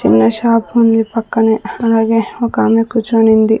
చిన్న షాప్ ఉంది పక్కనే అలాగే ఒక ఆమె కూర్చుని ఉంది.